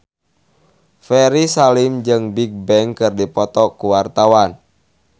Ferry Salim jeung Bigbang keur dipoto ku wartawan